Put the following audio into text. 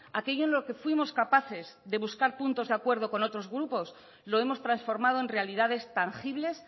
aquello en lo que fuimos capaces de buscar puntos de acuerdo con otros grupos lo hemos transformado en realidades tangibles